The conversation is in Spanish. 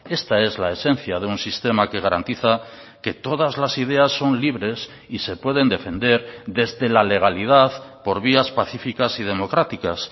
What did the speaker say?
esta es la esencia de un sistema que garantiza que todas las ideas son libres y se pueden defender desde la legalidad por vías pacificas y democráticas